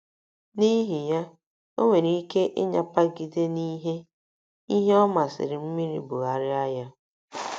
N’ihi ya, o nwere ike ịnyapagide n’ihe ihe ọ masịrị mmiri bugharịa ya.